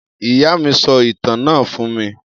Iya mi so itan na fun mi.